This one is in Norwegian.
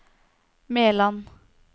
Meland